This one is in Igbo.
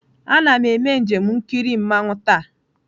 Ana m eme njem ikiri mmanwu taa.